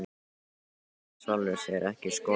Ég hef í sjálfu sér ekki skoðun á því.